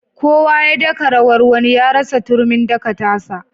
Kowa ya daka rawar wani ya rasa turmin daka ta sa.